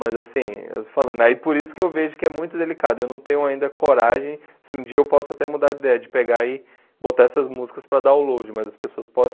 Mas assim, eu estou falando aí por isso que eu vejo que é muito delicado, eu não tenho ainda coragem, se um dia eu posso até mudar de ideia, de pegar e botar essas músicas para download, mas as pessoas podem.